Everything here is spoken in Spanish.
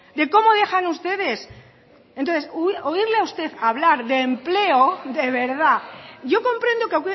de cómo dejan ustedes entonces oírle a usted hablar de empleo de verdad yo comprendo que